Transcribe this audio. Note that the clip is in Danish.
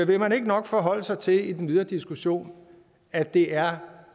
vil man ikke nok forholde sig til i den videre diskussion at det er